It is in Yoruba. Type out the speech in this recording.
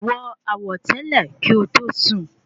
Wọ àwọ̀tẹ́lẹ̀ kí o tó sùn